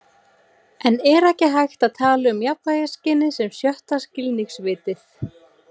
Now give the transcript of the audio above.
En er ekki hægt að tala um jafnvægisskynið sem sjötta skilningarvitið?